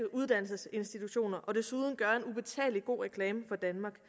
uddannelsesinstitutioner og desuden gøre en ubetalelig god reklame for danmark